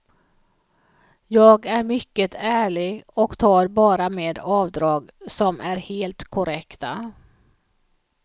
Jag är mycket ärlig och tar bara med avdrag som är helt korrekta.